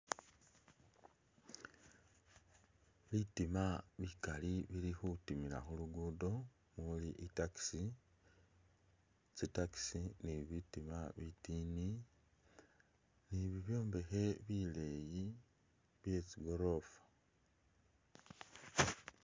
Bitima bikali bili khutimila khulugudo muli i'taxi, tsi'taxi ni bitima bitini ni bibyombekhe bileyi bye tsi'gorofa